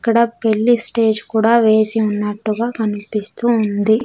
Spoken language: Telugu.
ఇక్కడ పెళ్లి స్టేజ్ కూడా వేసి ఉన్నట్టుగా కనిపిస్తూ ఉంది.